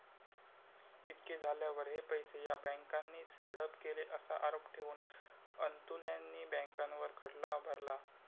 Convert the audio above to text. इतके झाल्यावर हे पैसे या बँकानीच हडप केले असा आरोप ठेवून अन्तुल्यांनी बँकांवर खटला भरला.